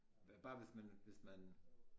Bare hvis man hvis man